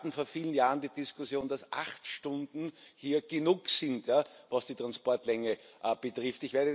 Wir hatten vor vielen Jahren die Diskussion, dass acht Stunden genug sind, was die Transportlänge betrifft.